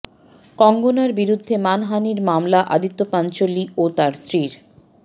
কঙ্গনার বিরুদ্ধে মানহানির মামলা আদিত্য পাঞ্চোলি ও তাঁর স্ত্রীর